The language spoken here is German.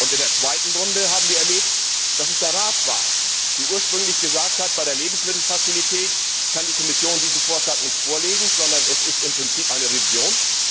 In der zweiten Runde haben wir erlebt, dass es der Rat war, der ursprünglich gesagt hat Bei der Lebensmittelfazilität kann die Kommission diesen Vorschlag nicht vorlegen, sondern es ist im Prinzip eine Revision.